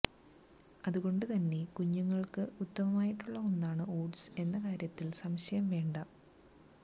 അതുകൊണ്ട് തന്നെ കുഞ്ഞുങ്ങള്ക്ക് ഉത്തമമായിട്ടുള്ള ഒന്നാണ് ഓട്സ് എന്ന കാര്യത്തില് സംശയം വേണ്ട